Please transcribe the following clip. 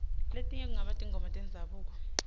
letinye kungaba tingoma tendzabuko